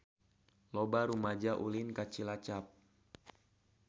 Loba rumaja ulin ka Cilacap